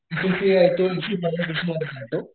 NCCA